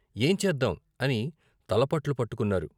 ఏం చేద్దాం " అని తలపట్లు పట్టుకున్నారు.